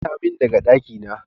Fita min daga dakina!